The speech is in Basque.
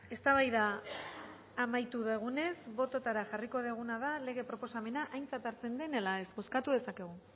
eztabaida amaitu dugunez bototara jarriko duguna da lege proposamena aintzat hartzen den ala ez bozkatu dezakegu